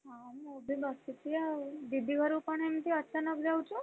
ହଁ ମୁଁ ବି ବସିଛି ଆଉ ଦିଦି ଘରକୁ କଣ ଏମିତି ଅଚାନକ ଯାଉଚୁ?